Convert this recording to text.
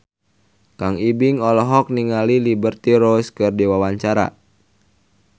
Kang Ibing olohok ningali Liberty Ross keur diwawancara